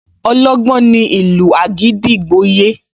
Ọlọ́gbọ́n ní ìlú àgídìgbo yé